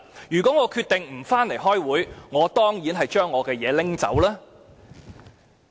如果我決定不回來開會，我當然會拿走我的東西。